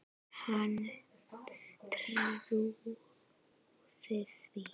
Hann trúði því.